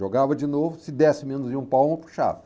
Jogava de novo, se desse menos de um palmo, eu puxava.